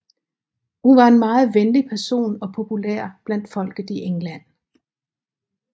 Hun var en meget venlig person og populær blandt folket i England